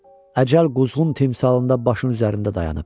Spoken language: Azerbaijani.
Əcəl quzğun timsalında başın üzərində dayanıb.